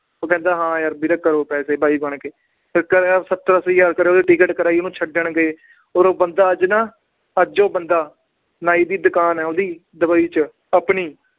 ਉਹ ਕਹਿੰਦਾ ਹਾਂ ਯਾਰ ਵੀਰੇ ਕਰੋ ਪੈਸੇ ਬਾਈ ਬਣ ਕੇ ਫਿਰ ਕਰਿਆ ਸੱਤਰ ਅੱਸੀ ਹਜ਼ਾਰ ਕਰਿਆ ਉਹਦੀ ਟਿੱਕਟ ਕਰਵਾਈ ਉਹਨੂੰ ਛੱਡਣ ਗਏ ਔਰ ਉਹ ਬੰਦਾ ਅੱਜ ਨਾ ਅੱਜ ਉਹ ਬੰਦਾ ਨਾਈ ਦੀ ਦੁਕਾਨ ਹੈ ਉਹਦੀ ਦੁਬਈ 'ਚ ਆਪਣੀ